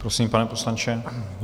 Prosím, pane poslanče.